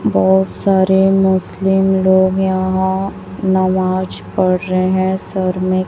बहोत सारे मुस्लिम लोग यहां नमाज पढ़ रहे हैं सर में--